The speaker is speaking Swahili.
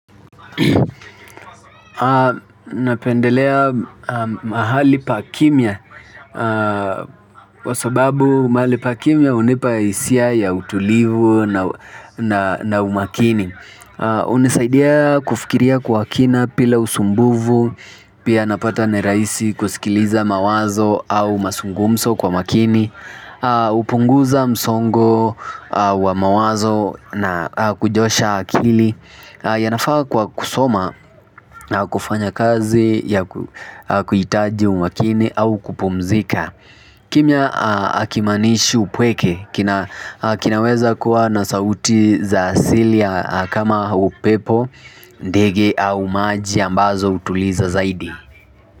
Napendelea mahali pa kimya kwa sababu mahali pa kimya hunipa hisia ya utulivu na umakini hunisaidia kufikiria kwa kina bila usumbufu pia napata ni rahisi kusikiliza mawazo au mazungumzo kwa makini hupunguza msongo wa mawazo na kujosha akili. Yanafaa kwa kusoma na kufanya kazi ya kuhitaji umakini au kupumzika kimya hakimaanishi upweke kinaweza kuwa na sauti za asili ya kama upepo ndege au maji ambazo hutuliza zaidi.